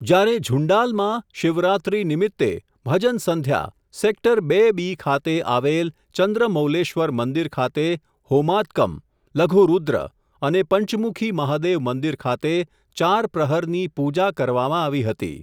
જ્યારે ઝુંડાલમાં, શિવરાત્રી નિમિત્તે, ભજન સંધ્યા, સેક્ટર બે બી ખાતે, આવેલ, ચંદ્રમૌલેશ્વર મંદિર ખાતે, હોમાત્કમ, લઘુરૂદ્ર, અને પંચમુખી મહાદેવ મંદિર ખાતે, ચાર પ્રહરની, પૂજા કરવામાં, આવી હતી.